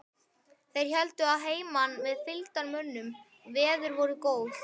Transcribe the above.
Þeir héldu að heiman með fylgdarmönnum, veður voru góð.